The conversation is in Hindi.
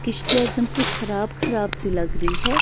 एकदम से ख़राब ख़राब सी लग रही है।